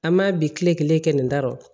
An m'a bi kile kelen kɛ nin da rɔ